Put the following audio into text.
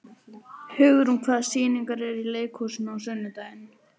Hugrún, hvaða sýningar eru í leikhúsinu á sunnudaginn?